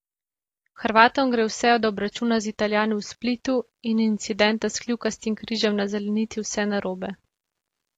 Hrvatom gre vse od obračuna z Italijani v Splitu in incidenta s kljukastim križem na zelenici vse narobe.